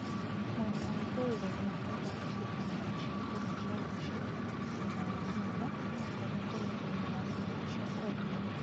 mwena wa ĩthũĩro rĩa bũrũrĩ, cĩrĩmagũo cĩakũrĩa cĩa mũcĩĩ thũtha wa nyũmba onakorũo kũrĩ arĩmĩ marĩmaga cĩa kũendĩa